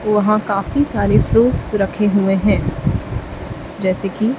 वहां काफी सारे फ्रूट्स रखे हुए हैं जैसे कि--